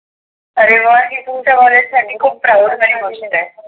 आरे वा हे तुमच्या कॉलेज साठी खुप proud ची गोष्ट आहे.